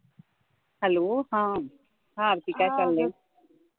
hello हा आरती काय चाललंय